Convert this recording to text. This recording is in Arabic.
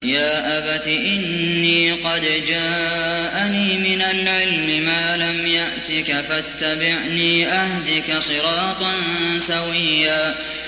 يَا أَبَتِ إِنِّي قَدْ جَاءَنِي مِنَ الْعِلْمِ مَا لَمْ يَأْتِكَ فَاتَّبِعْنِي أَهْدِكَ صِرَاطًا سَوِيًّا